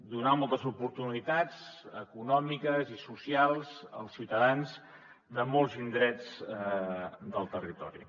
donar moltes oportunitats econòmiques i socials als ciutadans de molts indrets del territori